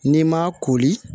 N'i m'a koli